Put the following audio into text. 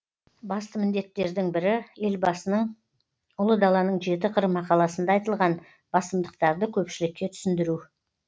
басты міндеттердің бірі елбасының ұлы даланың жеті қыры мақаласында айтылған басымдықтарды көпшілікке түсіндіру